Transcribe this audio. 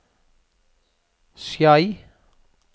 Skei